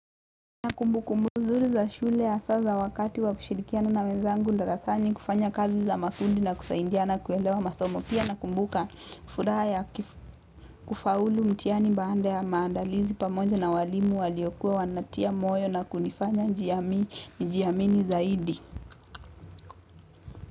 Na kumbukumbu nzuri za shule hasa za wakati wa kushirikiana na wenzangu darasani kufanya kazi za makundi na kusaidiana kuelewa masomo pia nakumbuka furaha ya kufaulu mtihani baada ya maandalizi pamoja na walimu waliokuwa wanatia moyo na kunifanya nijiamini zaidi.